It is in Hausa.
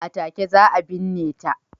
A take za a binne ta.